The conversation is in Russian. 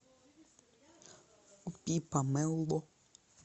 купи помело